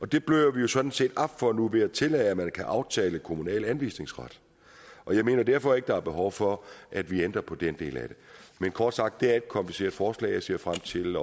det bløder vi sådan set op for nu ved at tillade at man kan aftale kommunal anvisningsret og jeg mener derfor ikke der er behov for at vi ændrer på den del af det kort sagt er det et kompliceret forslag og jeg ser frem til